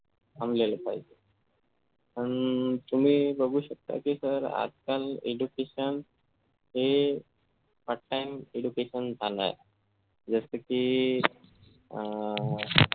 थांबलेल्या पायी तुम्ही बघू शकता की sir आजकाल education हे part time education झाला जसं की अह